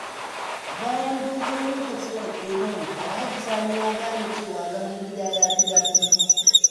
Bayan dogon lokaci a ƙetare, Alhaji Sani ya gane cewa zaman gida ya fi daɗi.